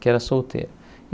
que era solteira.